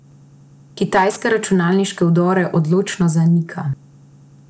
Kitajska računalniške vdore odločno zanika.